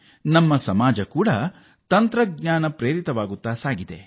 ನಮ್ಮ ಸಮಾಜ ಕೂಡ ತಂತ್ರಜ್ಞಾನದತ್ತ ಹೊರಳುತ್ತಿದೆ